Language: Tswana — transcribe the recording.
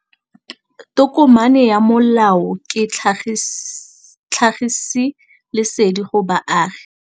Tokomane ya molao ke tlhagisi lesedi go baagi.